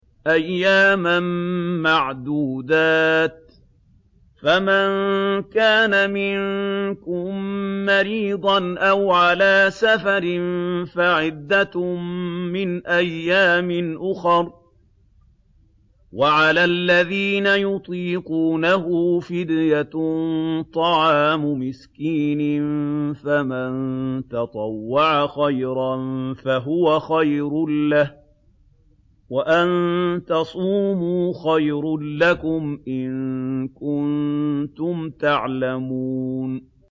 أَيَّامًا مَّعْدُودَاتٍ ۚ فَمَن كَانَ مِنكُم مَّرِيضًا أَوْ عَلَىٰ سَفَرٍ فَعِدَّةٌ مِّنْ أَيَّامٍ أُخَرَ ۚ وَعَلَى الَّذِينَ يُطِيقُونَهُ فِدْيَةٌ طَعَامُ مِسْكِينٍ ۖ فَمَن تَطَوَّعَ خَيْرًا فَهُوَ خَيْرٌ لَّهُ ۚ وَأَن تَصُومُوا خَيْرٌ لَّكُمْ ۖ إِن كُنتُمْ تَعْلَمُونَ